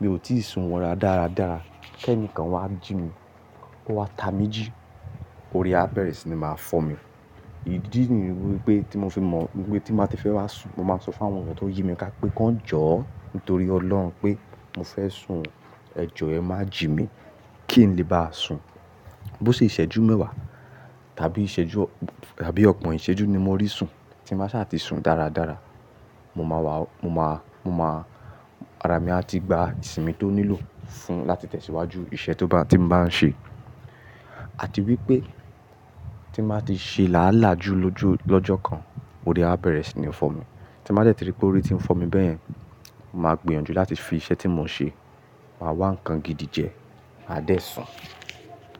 mi ò tíì sun wọ́ra dáradára, kí ẹnìkan wá jí mi, kó wá ta mi jí, orí á bẹ̀rẹ̀ sí ní máa fọ́ mi idí nì wípé tí mo fi mọ̀ wípé tí n bàá ti fẹ́ wá sùn, mo máa ń sọ fún àwọn ọmọ tó yìí mi ká pé kí wón jọ̀ọ́ nítorí Ọlọ́run pé mo fẹ́ sùn. Ẹ jọ̀ọ́ ẹ má jí mi kí n lè bá sùn. Bo ṣe ìṣẹ́jú mẹ́wàá tábí ìṣẹ́jú tábí ọ̀gbon ìṣẹ́jú ni mo rí sùn, tí n bàá sa tì sùn dáradára, mo máa wá, mo máa, mo máa, ara mi a ti gba ìsinmi tó nílò fún láti tẹ̀síwájú iṣẹ́ tó bá ti n báa ń ṣe. Àti wípé tí màá ti ṣe làálàá ju lójo lọ́jọ́ kan, orí á bẹ̀rẹ̀ sí ní fọ́ mi. Tí n bá dẹ̀tì rí pé orí ti ń fọ́ mi beyẹ̀n, màá gbìyànjú láti fi iṣẹ́ tí mò ń ṣe, màá wá nǹkan gidi jẹ, a dẹ̀ sùn.